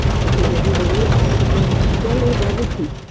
ওকে যদি বলি আমরা টাকা দিচ্ছি চল ও যাবে ঠিক